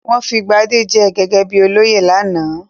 Wọ́n fi Gbadé jẹ gẹ́gẹ́ bí olóyè lánàá?